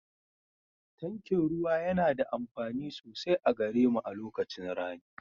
Tankin ruwa yana da amfani sosai a gare mu a lokacin rani